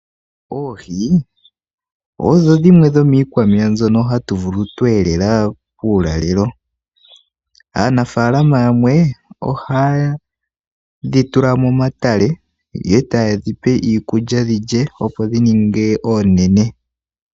Oohi odho dhimwe dhomiikwameya mbyono hatu vulu twe elela uulalelo. Aanafalama yamwe ohaadhi tula momatale ye taye dhipe iikulya dhilye opi dhi ninge oonene.